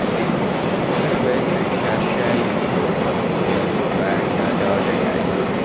Garba yakan sha shayin goriba da yamma bayan ya dawo daga aiki